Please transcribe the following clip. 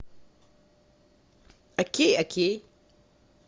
окей окей